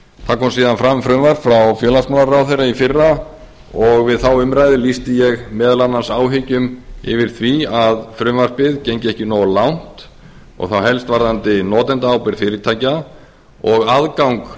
það kom síðan fram frumvarp frá félagsmálaráðherra í fyrra og við þá umræðu lýsti ég meðal annars áhyggjum yfir því að frumvarpið gengi ekki alveg nógu langt og þá helst varðandi notendaábyrgð fyrirtækja og aðgang